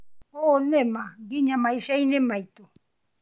ũũ nĩ ma nginya maica-inĩ maitũ